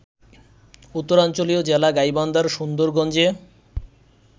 উত্তরাঞ্চলীয় জেলা গাইবান্ধার সুন্দরগঞ্জে